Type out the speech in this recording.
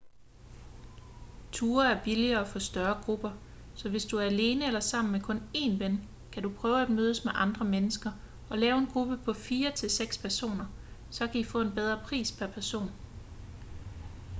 ture er billigere for større grupper så hvis du er alene eller sammen med kun én ven kan du prøve at mødes med andre mennesker og lave en gruppe på fire til seks personer så i kan få en bedre pris pr person